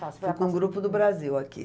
Fui com um grupo do Brasil aqui.